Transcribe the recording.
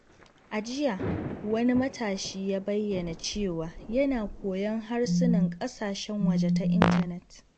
A jiya, wani matashi ya bayyana cewa yana koyon harsunan ƙasashen waje ta intanet.